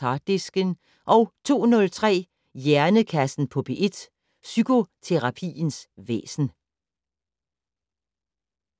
Harddisken * 02:03: Hjernekassen på P1: Psykoterapiens væsen